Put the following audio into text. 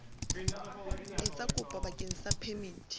etsa kopo bakeng sa phemiti